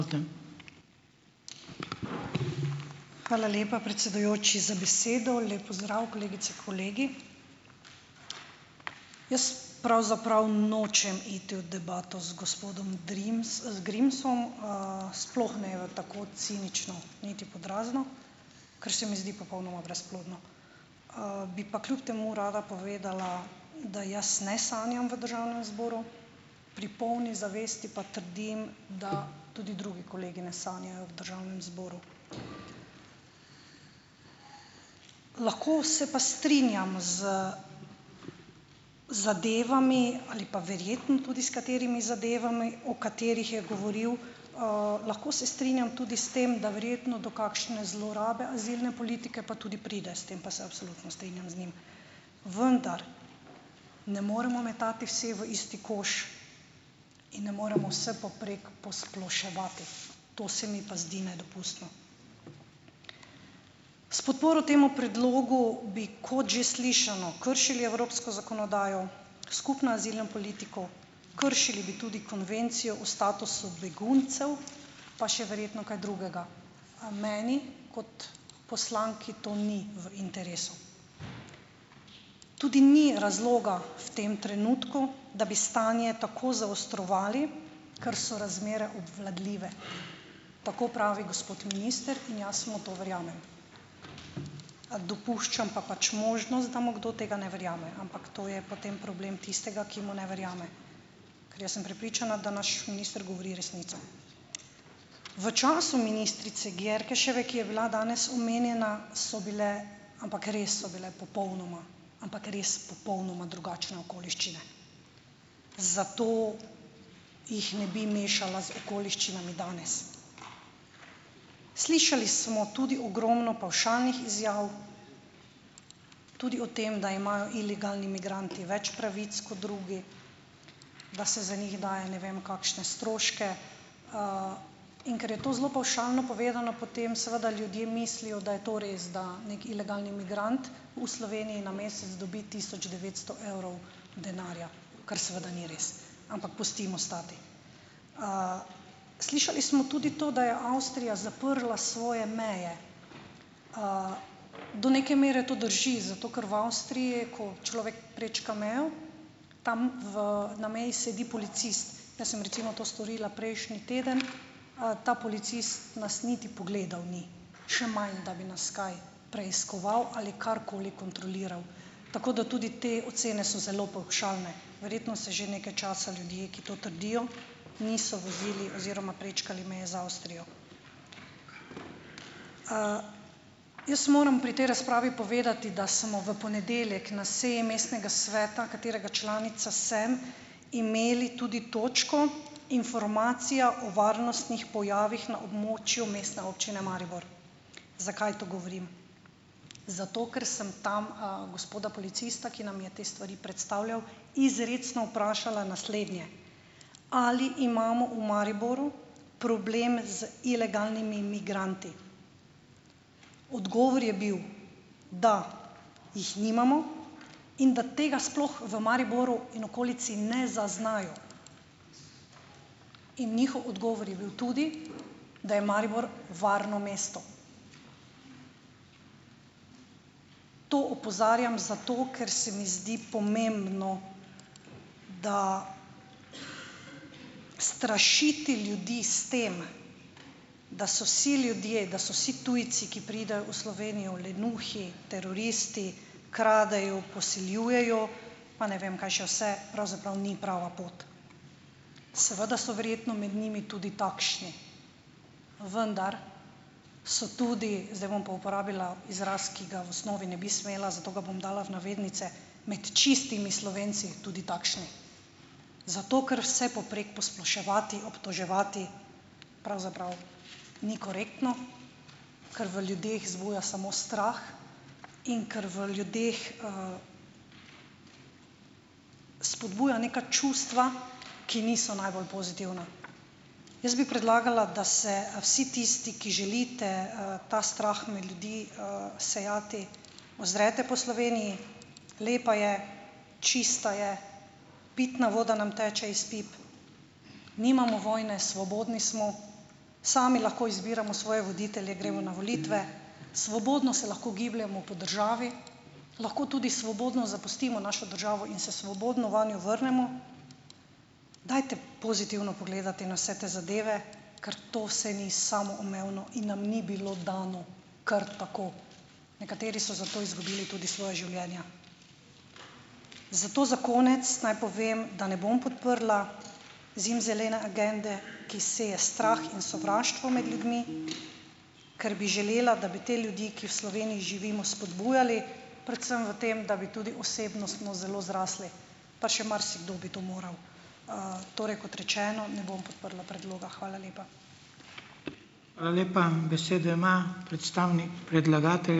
Hvala lepa, predsedujoči, za besedo lep pozdrav, kolegice kolegi. Jaz pravzaprav nočem iti v debato z gospodom Grimsom, sploh ne tako cinično, niti pod razno, ker se mi zdi popolnoma brezplodno, bi pa kljub temu rada povedala, da jaz ne sanjam v državnem zboru pri polni zavesti pa trdim, da tudi drugi kolegi ne sanjajo v državnem zboru, lahko se pa strinjam z zadevami ali pa verjetno tudi s katerimi zadevami, o katerih je govoril, lahko se strinjam tudi s tem, da verjetno do kakšne zlorabe azilne politike pa tudi pride, s tem pa se absolutno strinjam z njim, vendar ne moremo metati vse v isti koš in ne moremo vsepovprek posploševati, to se mi pa zdi nedopustno, s podporo temu predlogu bi, kot že slišano, kršili evropsko zakonodajo, skupno azilno politiko, kršili bi tudi konvencijo o statusu beguncev pa še verjetno kaj drugega, a meni kot poslanki to ni v interesu, tudi ni razloga v tem trenutku, da bi stanje tako zaostrovali, ker so razmere obvladljive, tako pravi gospod minister, in jaz mu to verjamem, dopuščam pa pač možnost, da mu kdo tega ne verjame, ampak to je potem problem tistega ki mu ne verjame, ker jaz sem prepričana, da naš minister govori resnico. V času ministrice Györköseve, ki je bila danes omenjena, so bile, ampak res so bile popolnoma, ampak res popolnoma drugačne okoliščine, zato jih ne bi mešala z okoliščinami danes, slišali smo tudi ogromno pavšalnih izjav, tudi o tem, da imajo ilegalni migranti več pravic kot drugi, da se za njih daje ne vem kakšne stroške, in ker je to zelo pavšalno povedano, potem seveda ljudje mislijo, da je to res, da neki ilegalni migrant v Sloveniji na mesec dobi tisoč devetsto evrov denarja, kar seveda ni res, ampak pustimo stati, slišali smo tudi to, da je Avstrija zaprla svoje meje, do neke mere to drži, zato ker v Avstriji, ko človek prečka mejo, ta v na meji sedi policist, jaz sem recimo to storila prejšnji teden, ta policist nas niti pogledal ni, še manj, da bi nas kaj preiskoval ali karkoli kontroliral, tako da tudi te ocene so zelo pavšalne, verjetno se že nekaj časa ljudje, ki to trdijo, niso vozili oziroma prečkali meje z Avstrijo. jaz moram pri tej razpravi povedati, da smo v ponedeljek na seji mestnega sveta, katerega članica sem, imeli tudi točko Informacija o varnostnih pojavih na območju Mestne občine Maribor. Zakaj to govorim? Zato ker sem tam a gospoda policista, ki nam je te stvari predstavljal, izrecno vprašala naslednje: "Ali imamo v Mariboru problem z ilegalnimi migranti?" Odgovor je bil, da jih nimamo in da tega sploh v Mariboru in okolici ne zaznajo, in njihov odgovor je bil tudi, da je Maribor varno mesto. To opozarjam zato, ker se mi zdi pomembno, da strašiti ljudi s tem, da so si ljudje, da so si tujci, ki pridejo v Slovenijo, lenuhi, teroristi, kradejo, posiljujejo pa ne vem kaj še vse, pravzaprav ni prava pot, seveda so verjetno med njimi tudi takšni, vendar so tudi zdaj bom pa uporabila izraz, ki ga v osnovi ne bi smela, zato ga bom dala v navednice, med čistimi Slovenci tudi takšni, zato ker vsepovprek posploševati, obtoževati pravzaprav ni korektno, ker v ljudeh zbuja samo strah in ker v ljudeh, spodbuja neka čustva, ki niso najbolj pozitivna, jaz bi predlagala, da se vsi tisti, ki želite, ta strah med ljudi, sejati ozrete po Sloveniji, lepa je, čista je, pitna voda nam teče iz pip, nimamo vojne, svobodni smo, sami lahko izbiramo svoje voditelje, gremo na volitve, svobodno se lahko gibljemo po državi, lahko tudi svobodno zapustimo našo državo in se svobodno vanjo vrnemo. Dajte pozitivno pogledati na vse te zadeve, kar to se vi samoumevno in nam ni bilo dano kar tako, nekateri so za to izgubili tudi svoja življenja, zato za konec naj povem, da ne bom podprla zimzelene agende, ki seje strah in sovraštvo med ljudmi, ker bi želela, da bi te ljudi, ki v Sloveniji živimo, spodbujali predvsem v tem, da vi tudi osebnostno zelo zrasli, pa še marsikdo bi to moral, torej kot rečeno, ne bom podprla predloga, hvala lepa. Hvala lepa, besedo ima predstavnik ...